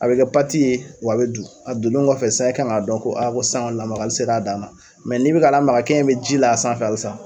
A bɛ kɛ pati ye wa a be du. A dunen kɔfɛ sa e kan ŋ'a dɔn ko ko san ŋɔni lamagali ser'a dan na. n'i be k'a lamaga kɛn in be ji la a sanfɛ halisa.